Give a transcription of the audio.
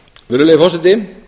virðulegi forseti